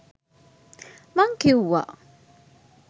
මං කිව්වා.